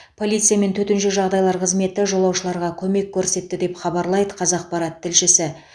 полиция мен төтенше жағдайлар қызметі жолаушыларға көмек көрсетті деп хабарлайды қазақпарат тілшісі